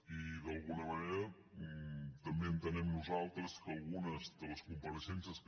i d’alguna manera també entenem nosaltres que algunes de les compareixences que